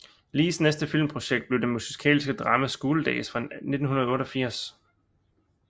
Lees næste filmprojekt blev det musikalske drama School Daze fra 1988